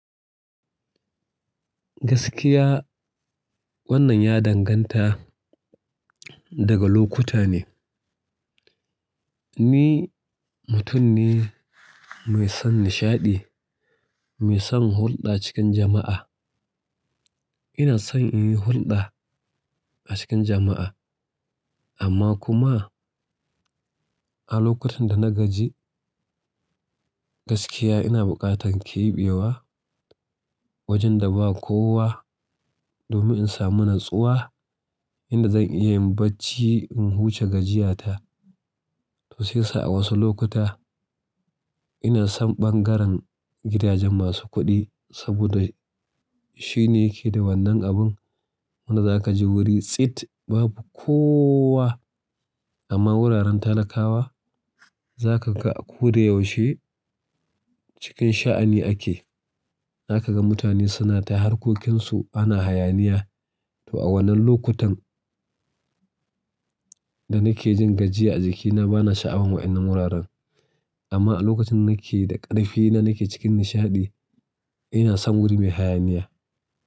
Gaskiya wannan ya danganta daga lokuta ne. Ni mutum ne mai son nishaɗi, mai son hulɗa cikin jama'a. Ina son in yi hulɗa a cikin jama'a amma kuma a lokutan da na gaji gaskiya ina buƙatan ƙeɓewa wajen da ba kowa domin in samu natsuwa yanda zan iya yin bacci in huce gajiya ta to sai ya sa a wasu lokuta ina son ɓangaren gidajen masu kuɗi saboda shine yake da wannan abin wanda za ka je wuri tsit babu kowa amma wuraren talakawa za ka ga a koda yaushe cikin sha'ani ake. Za ka ga mutane suna ta harkokinsu ana hayaniya. To a wannan lokutan da nake jin gajiya a jikina bana sha'awan wa'innan wuraren amma a lokacin nake da ƙarfi na nake cikin nishaɗi ina son wuri mai hayaniya.